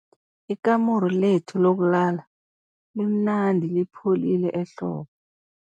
Ikamuru lethu lokulala limnandi lipholile ehlobo.